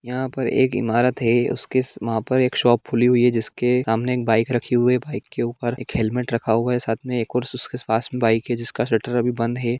यहाँ पर एक इमारत है उसके वहां पर एक शॉप खुली हुई है जिसके सामने एक बाइ राखी हुई बाइक के ऊपर एक हेलमेट रखा हुआ है सात में एक और उसके पास बाइक है जिसका शटर अभी बंद है।